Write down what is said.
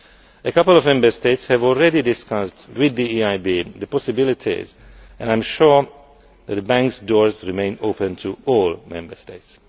A couple of Member States have already discussed with the EIB the possibilities and I am sure the bank's doors remain open to all Member States.